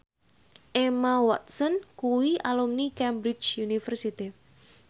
Emma Watson kuwi alumni Cambridge University